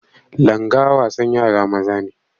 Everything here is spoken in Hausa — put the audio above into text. Langa wasan yara maza ne.